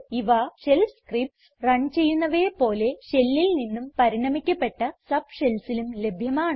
ഇവ shell scripts run ചെയ്യുന്നവയെ പോലെ shellൽ നിന്നും പരിണമിക്കപ്പെട്ട subshellsലും ലഭ്യമാണ്